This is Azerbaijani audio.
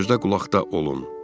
Gözdə-qulaqda olun.